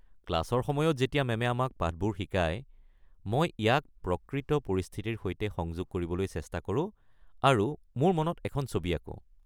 ক্লাছৰ সময়ত যেতিয়া মেমে আমাক পাঠবোৰ শিকায়, মই ইয়াক প্ৰকৃত পৰিস্থিতিৰ সৈতে সংযোগ কৰিবলৈ চেষ্টা কৰোঁ আৰু মোৰ মনত এখন ছবি আঁকো।